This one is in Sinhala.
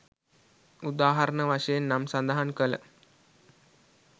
උදාහරණ වශයෙන් නම් සදහන් කල